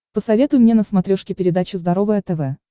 посоветуй мне на смотрешке передачу здоровое тв